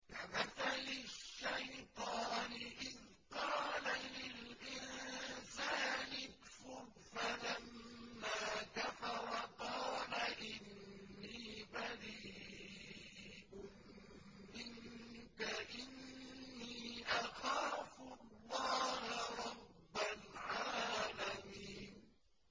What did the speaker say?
كَمَثَلِ الشَّيْطَانِ إِذْ قَالَ لِلْإِنسَانِ اكْفُرْ فَلَمَّا كَفَرَ قَالَ إِنِّي بَرِيءٌ مِّنكَ إِنِّي أَخَافُ اللَّهَ رَبَّ الْعَالَمِينَ